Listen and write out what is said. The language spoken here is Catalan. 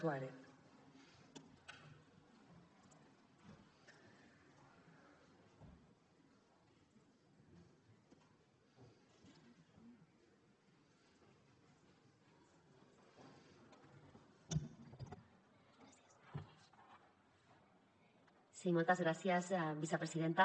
sí moltes gràcies vicepresidenta